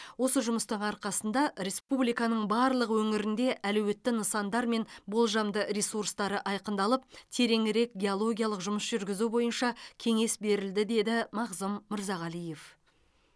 осы жұмыстың арқасында республиканың барлық өңірінде әлеуетті нысандар мен болжамды ресурстары айқындалып тереңірек геологиялық жұмыс жүргізу бойынша кеңес берілді деді мағзұм мырзағалиев